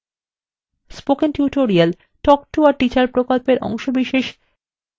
spoken tutorial talk to a teacher প্রকল্পের অংশবিশেষ